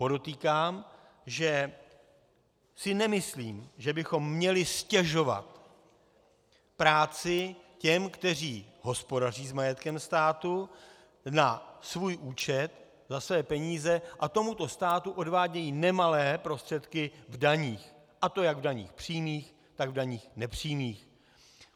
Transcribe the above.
Podotýkám, že si nemyslím, že bychom měli ztěžovat práci těm, kteří hospodaří s majetkem státu na svůj účet, za své peníze a tomuto státu odvádějí nemalé prostředky v daních, a to jak v daních přímých, tak v daních nepřímých.